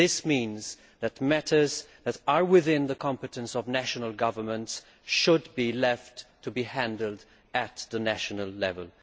This means that matters that are within the competence of national governments should be left to be handled at national level.